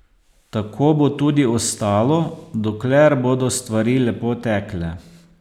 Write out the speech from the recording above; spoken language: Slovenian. Tako bo tudi ostalo, dokler bodo stvari lepo tekle.